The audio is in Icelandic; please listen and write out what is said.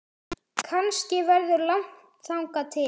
Kannski verður langt þangað til